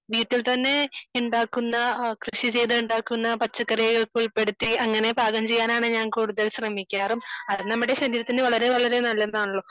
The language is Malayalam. വീട്ടിൽ തന്നെ ഉണ്ടാക്കുന്ന കൃഷി ചെയ്തു ഉണ്ടാക്കുന്ന പച്ചക്കറികൾ ഉൾപ്പെടുത്തി അങ്ങനെ പാചകം ചെയ്യാനാണ് ഞാൻ കൂടുതലും ഞാൻ ശ്രമിക്കാറും അത് നമ്മളെ ശരീരത്തിന് വളരെ വളരെ നല്ലതാണല്ലോ